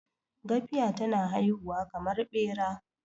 gafiya tana haihuwa kamar Bera